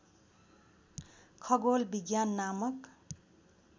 खगोल विज्ञान नामक